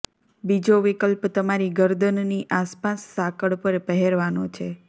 બીજો વિકલ્પ તમારી ગરદનની આસપાસ સાંકળ પર પહેરવાનો છે